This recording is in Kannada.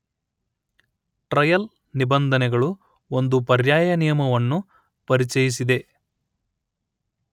ಟ್ರಯಲ್ ನಿಬಂಧನೆಗಳು ಒಂದು ಪರ್ಯಾಯ ನಿಯಮವನ್ನೂ ಪರಿಚಯಿಸಿದೆ